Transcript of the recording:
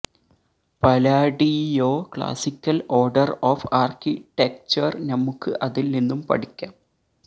Palladio classical order of architecture നമുക്ക് അതിൽ നിന്നും പഠിക്കാം